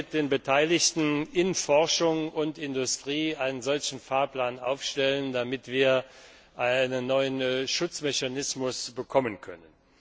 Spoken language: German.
Sie sollten mit den Beteiligten in Forschung und Industrie einen solchen Fahrplan aufstellen, damit wir einen neuen Schutzmechanismus bekommen können.